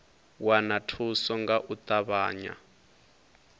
wana thuso nga u ṱavhanya